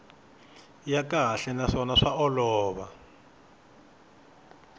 ya kahle naswona swa olova